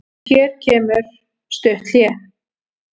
Hér kemur stutt hlé.